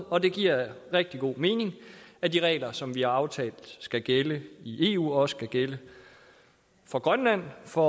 og det giver rigtig god mening at de regler som vi har aftalt skal gælde i eu også skal gælde for grønland for